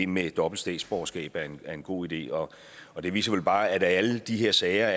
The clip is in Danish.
med dobbelt statsborgerskab er en god idé og og det viser vel bare at alle de her sager